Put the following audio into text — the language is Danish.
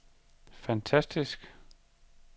fantastisk